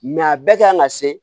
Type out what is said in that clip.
a bɛɛ kan ka se